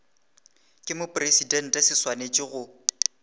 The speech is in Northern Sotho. ke mopresidente se swanetše go